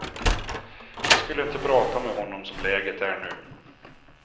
Jag skulle inte prata med honom som läget är nu.